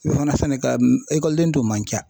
O fana sɛnɛka ekɔliden tun man ca.